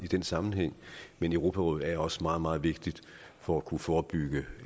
den sammenhæng men europarådet er også meget meget vigtigt for at kunne forebygge